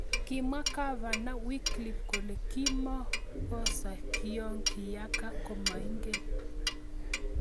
kimwa gavana wycliffe kole kimokosa kiyoo kiyaka komainget